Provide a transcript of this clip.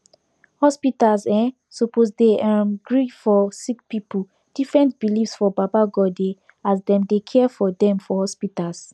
hospitas eh suppos dey erm gree for sicki pipu different beliefs for baba godey as dem dey care for dem for hospitas